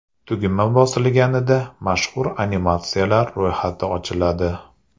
Tugma bosilganida, mashhur animatsiyalar ro‘yxati ochiladi.